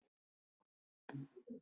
Hún segir þér hvernig þetta var.